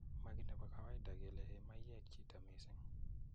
maki �nebo kawaida kele ee chito mayek missin